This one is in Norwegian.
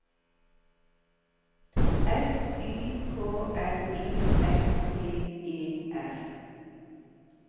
S Y K L I S T E R